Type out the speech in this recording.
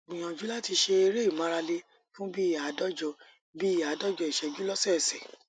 gbìyànjú láti ṣe eré ìmáralé fún bí i àádọjọ bí i àádọjọ ìṣẹjú lósọọsẹ